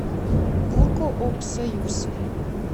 буркоопсоюз